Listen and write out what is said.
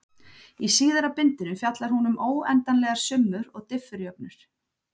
Í síðara bindinu fjallar hún um óendanlegar summur og diffurjöfnur.